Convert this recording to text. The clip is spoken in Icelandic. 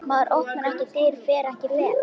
Maður opnar ekki dyr, fer ekki fet.